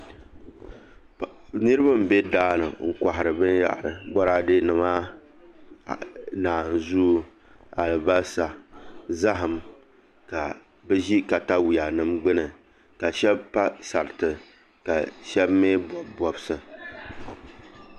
Niraba n bɛ daani n kohari binyahari Boraadɛ nima naanzuu alibarisa zaham ka bi ʒi katawiya nim gbuni ka shab pa sarati ka shab mii bob bobsi